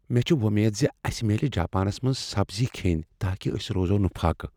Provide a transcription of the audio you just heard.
مےٚ چھ وۄمید زِ اسِہ میلِہ جاپانس منٛز سبزی کھٮ۪ن تاکِہ أسۍ روزو نہٕ فاقیہ ۔